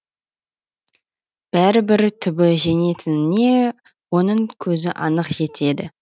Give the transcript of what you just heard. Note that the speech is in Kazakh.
бәрібір түбі жеңетініне оның көзі анық жетеді